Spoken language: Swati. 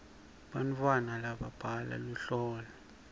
bantwana babhala luhlolo